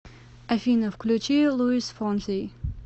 афина включи луис фонси